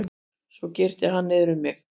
Svo girti hann niður um mig.